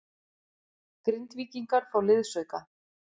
Grindvíkingar fá liðsauka